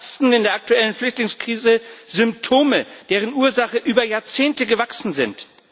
Wir verarzten in der aktuellen Flüchtlingskrise Symptome, deren Ursachen über Jahrzehnte gewachsen sind.